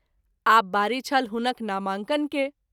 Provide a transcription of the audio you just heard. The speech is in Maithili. आब बारी छल हुनक नामांकन के।